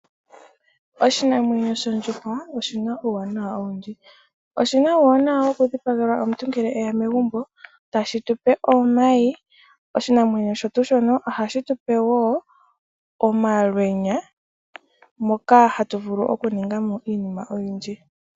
Oshinamwenyo shondjuhwa oshina uuwanawa owundji. Oshina uuwanawa woku dhipagelwa omuntu ngele eya megumbo, tashi tupe omayi. Oshinamwenyo osho tuu shono ohashi tupe woo omalwenya, moka hatu vulu oku ningamo iinima oyindji.